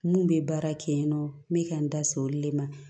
Mun bɛ baara kɛ yen nɔ n bɛ ka n da se olu le ma